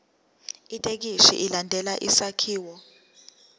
ithekisthi ilandele isakhiwo